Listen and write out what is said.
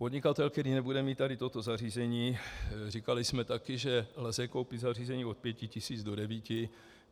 Podnikatel, který nebude mít tady toto zařízení, říkali jsme také, že lze koupit zařízení od pěti tisíc do devíti.